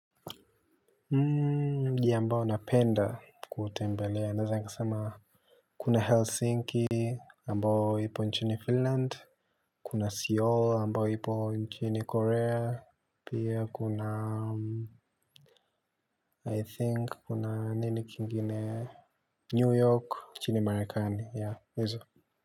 Mji ambao napenda kuutembelea. Naweza nikasema kuna Helsinki ambao ipo nchini Finland. Kuna Seoul ambao ipo nchini Korea. Pia kuna I think kuna nini kingine New York nchini Marekani. Yeah hizo.